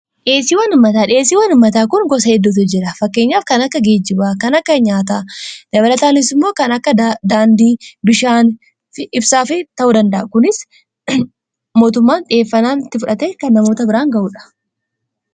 dheesii wanummataa dheesii wanummataa kun gosa eddootu jira fakkeenyaaf kan akka geejibaa kan akka nyaataa dabara taanisimmoo kan akka daandii bishaan ibsaa fi ta'uu danda'a kunis mootummaan xhiheffanaatti fudhate kan namoota biraan ga'uudha